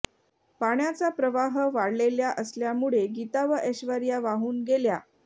पाण्याचा प्रवाह वाढलेल्या असल्यामुळे गीता व ऐश्वर्या वाहून गेल्या